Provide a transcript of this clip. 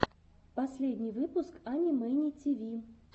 последний выпуск ани мэни тиви